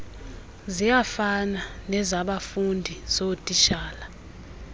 ziyafana nezabafundi zootitshala